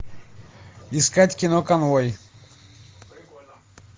искать кино конвой